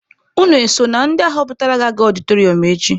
Unu eso na ndị ahọpụtara ga-aga ọdịtọrịọm echi?